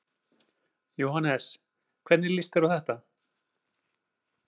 Jóhannes: Hvernig líst þér á þetta?